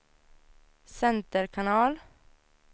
center kanal